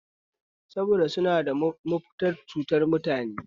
Saboda suna da manufar cutar mutane ne